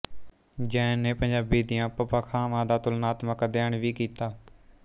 ਜੈਨ ਨੇ ਪੰਜਾਬੀ ਦੀਆਂ ਉਪਭਾਖਾਵਾਂ ਦਾ ਤੁਲਨਾਤਮਕ ਅਧਿਐਨ ਵੀ ਕੀਤਾ